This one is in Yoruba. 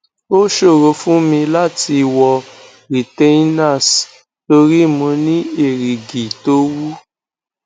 ó ṣòro fún mi láti wọ retainers tori mo ni erigi to wu